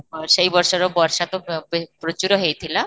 ସେଇ ବର୍ଷର ବର୍ଷା ତ ଅଃ ପ୍ରଚୁର ହେଇଥିଲା